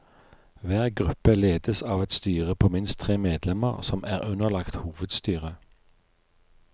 Hver gruppe ledes av et styre på minst tre medlemmer som er underlagt hovedstyret.